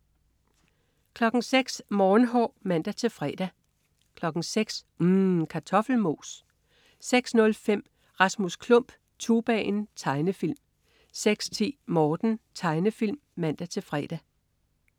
06.00 Morgenhår (man-fre) 06.00 UMM. Kartoffelmos 06.05 Rasmus Klump. Tubaen. Tegnefilm 06.10 Morten. Tegnefilm (man-fre)